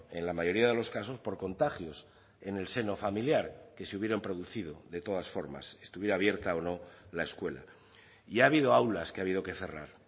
en la mayoría de los casos por contagios en el seno familiar que se hubieran producido de todas formas estuviera abierta o no la escuela y ha habido aulas que ha habido que cerrar